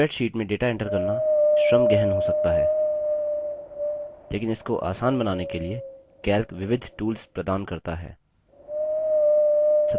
spreadsheet में data enter करना श्रम गहन हो सकता है लेकिन इसको आसान बनाने के लिए calc विविध tools प्रदान करता है